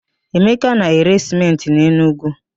Emeka na-ere sịmentị n'Enugwu.